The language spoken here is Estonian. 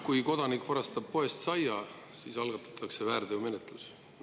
Kui kodanik varastab poest saia, siis algatatakse väärteomenetlus.